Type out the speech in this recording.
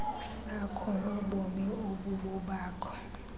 sakho nobomi obubobakho